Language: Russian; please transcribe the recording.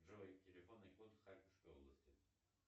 джой телефонный код харьковской области